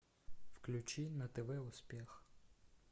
включи на тв успех